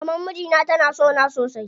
Maman mijina tana sona sosai.